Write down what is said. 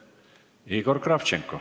Igor Kravtšenko.